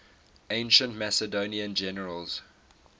ancient macedonian generals